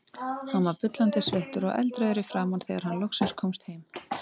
Hann var bullandi sveittur og eldrauður í framan þegar hann loksins komst heim.